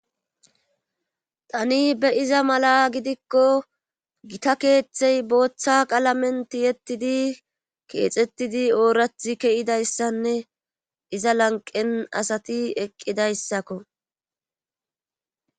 tani be7iza mala gidikko gita keeththey booththa qaalamenti yettidi keexettidi oorathi keyidayssanne iza lanqen asati eqqidayssakko.